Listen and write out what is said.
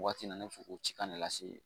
Waati na ne bɛ fɛ o ci kan ne lase